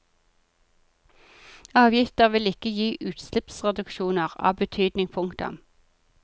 Avgifter vil ikke gi utslippsreduksjoner av betydning. punktum